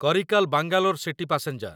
Karaikal Bangalore city passenger